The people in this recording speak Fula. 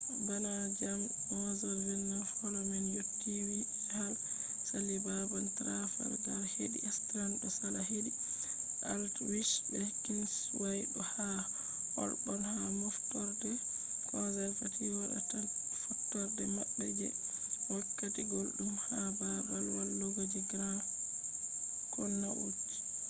bana jamdi 11:29 holo man yotti whitehall sali babal trafalgar hedi strand do sala hedi aldwych be kingsway do yaha holborn ha moftorde conservative wadata fottorde mabbe je wakkati guldum ha babal walugo je grand connaught